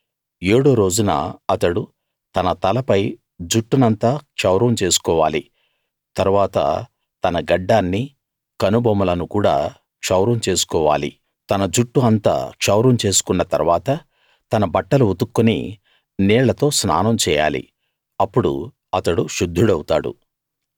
ఏడో రోజున అతడు తన తలపై జుట్టునంతా క్షౌరం చేసుకోవాలి తరువాత తన గడ్డాన్నీ కనుబొమలను కూడా క్షౌరం చేసుకోవాలి తన జుట్టు అంతా క్షౌరం చేసుకున్న తరువాత తన బట్టలు ఉతుక్కుని నీళ్ళతో స్నానం చేయాలి అప్పుడు అతడు శుద్ధుడవుతాడు